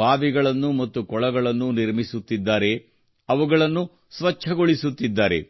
ಬಾವಿಗಳನ್ನು ಮತ್ತು ಕೊಳಗಳನ್ನು ನಿರ್ಮಿಸುತ್ತಿದ್ದಾರೆ ಅವುಗಳನ್ನು ಸ್ವಚ್ಛಗೊಳಿಸುತ್ತಿದ್ದಾರೆ